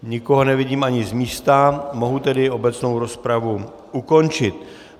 Nikoho nevidím ani z místa, mohu tedy obecnou rozpravu ukončit.